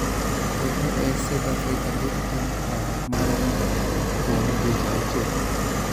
KOA Save Africa biro temo kwayo mareno kuom dweche auchiel.